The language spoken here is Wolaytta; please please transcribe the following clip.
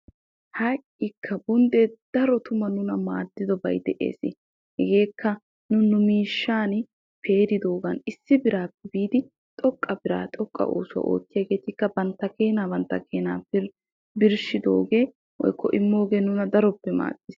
Ha"ikka! Bonddee daro tuma nuna maaddidobay de'ees. Hegeekka nu nu miishshan peeridoogan issi biraappe biidi xoqqa bira xoqqa oosuwaa oottiyaageetikka bantta keenaa bantta keenaa birshshidoogee woykko immoogee nuna daroppe maaddis.